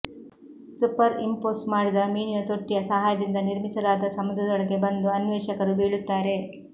super impose ಮಾಡಿದ ಮೀನಿನ ತೊಟ್ಟಿಯ ಸಹಾಯದಿಂದ ನಿರ್ಮಿಸಲಾದ ಸಮುದ್ರದೊಳಗೆ ಬಂದು ಅನ್ವೇಷಕರು ಬೀಳುತ್ತಾರೆ